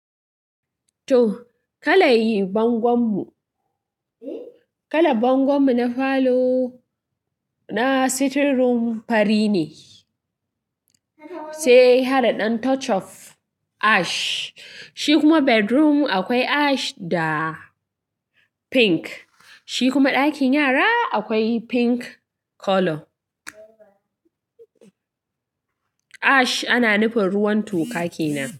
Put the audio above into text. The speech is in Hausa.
To, kalar bangon mu na falo na sitting room fari ne sai hada dan touch of ash. Shi kuma bedroom akwai ash da pink. Shi kuma dakin yara akwai pink colour. Ash ana nufin ruwan toka kenan.